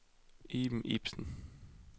Iben Ibsen